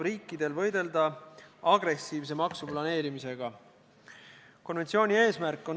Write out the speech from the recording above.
Milleks pisendada Eesti rongis lähedase kaotanud inimeste õigusi?